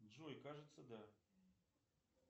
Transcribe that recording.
джой кажется да